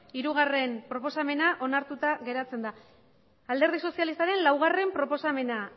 hirugarrena proposamena onartuta geratzen da alderdi sozialistaren laugarrena proposamena